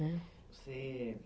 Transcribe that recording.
Né, você